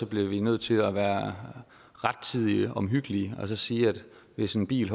bliver vi nødt til at være rettidig omhyggelige og sige at hvis en bil